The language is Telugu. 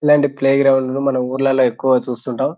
ఇలాంటి ప్లే గ్రౌండ్ లు మనం ఊర్లలో ఎక్కువగా చూస్తుంటాం.